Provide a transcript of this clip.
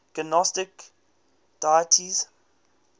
gnostic deities